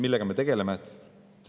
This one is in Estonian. Millega me tegeleme?